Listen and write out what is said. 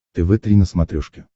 тв три на смотрешке